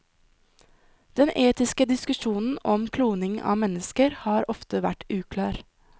Den etiske diskusjonen om kloning av mennesker har ofte vært uklar.